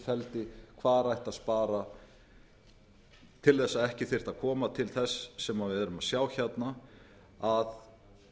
feldi hvar ætti að spara til þess að ekki þyrfti að koma til þess sem við erum að sjá hérna að